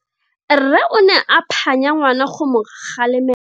Rre o ne a phanya ngwana go mo galemela.